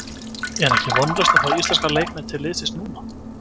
Er ekki vonlaust að fá íslenska leikmenn til liðsins núna?